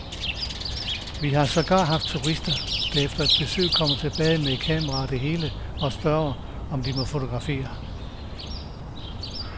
Vi har sågar haft turister, der efter et besøg kommer tilbage med kamera og det hele og spørger, om de må fotografere.